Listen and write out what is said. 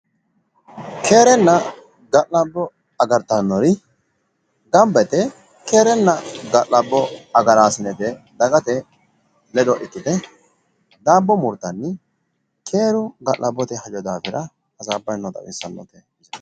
keerenna ga'labbo agartannori gamba yite keerenna ga'labo agaraasinete dagate ledo ikkite daabbo murtanni keeru ga'labbote hajo daafira hasaabbanni noota xawissannote.